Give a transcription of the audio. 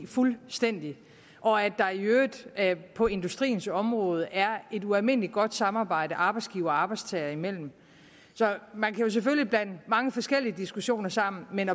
fuldstændig og at der i øvrigt på industriens område er et ualmindelig godt samarbejde arbejdsgiver og arbejdstager imellem man kan selvfølgelig blande mange forskellige diskussioner sammen men